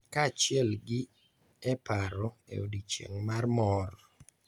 Kaachiel gi e paro e odiochieng' mar mor.